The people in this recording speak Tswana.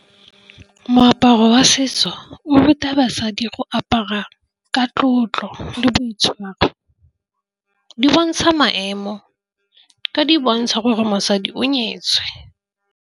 Moaparo wa setso o ruta basadi go apara ka tlotlo le boitshwaro di bontsha maemo ka di bontsha gore mosadi o nyetswe.